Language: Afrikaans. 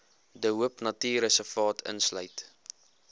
de hoopnatuurreservaat insluit